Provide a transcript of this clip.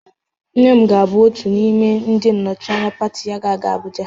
Nne m ga-abụ otu n'ime ndị nnọchịanya pati ya ga-aga Abụja